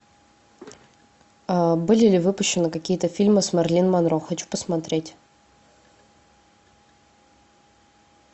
были ли выпущены какие то фильмы с мэрилин монро хочу посмотреть